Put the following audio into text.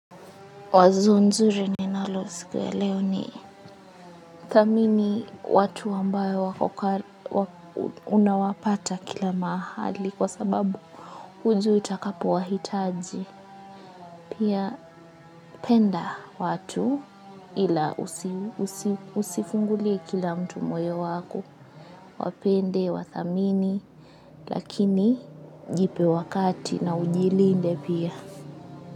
Wazo nzuri ninalo siku ya leo ni thamini watu ambayo unawapata kila mahali kwa sababu hujui utakapo wahitaji. Pia penda watu ila usifungulie kila mtu moyo wako wapende, wathamini lakini jipe wakati na ujilinde pia.